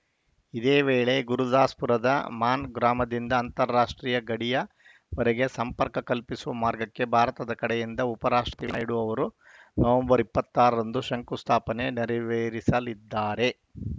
ಇದೇ ವೇಳೆ ಗುರುದಾಸ್‌ ಪುರದ ಮಾನ್‌ ಗ್ರಾಮದಿಂದ ಅಂತಾರಾಷ್ಟ್ರೀಯ ಗಡಿಯ ವರೆಗೆ ಸಂಪರ್ಕ ಕಲ್ಪಿಸುವ ಮಾರ್ಗಕ್ಕೆ ಭಾರತದ ಕಡೆಯಿಂದ ಉಪರಾಷ್ಟ್ರಪತಿ ನಾಯ್ಡು ಅವರು ನವೆಂಬರ್ ಇಪ್ಪತ್ತ್ ಆರರಂದು ಶಂಕು ಸ್ಥಾಪನೆ ನೆರವೇರಿಸಲಿದ್ದಾರೆ